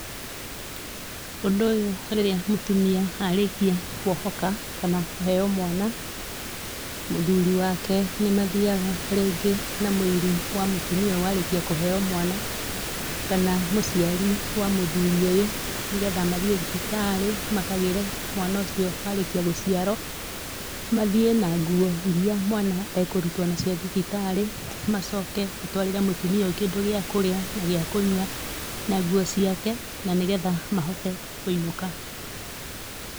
Ũndũ ũyũ rĩrĩa mũtumia arĩkia kuohoka, kana kũheo mwana, mũthuri wake nĩmathiaga rĩngĩ na mũiru wa mũtumia ũyũ warĩkia kũheo mwana kana mũciari wa mũthuri ũyũ nĩgetha mathiĩ thibitarĩ makagĩre mwana ũcio warĩkia gũciarwo mathiĩ na ngũo irĩa mwana ekũrutwo nacio thibitarĩ macoke matwarĩre mũtumia ũyũ kĩndũ gĩa kũrĩa na gĩa kũnyua na nguo ciake na nĩgetha mahote kũinũka.